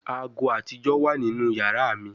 Aago atijọ wa ninu yara mi